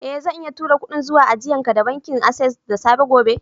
Eh, zan iya turo kudin zuwa ajian ka da bankin access da safe gobe.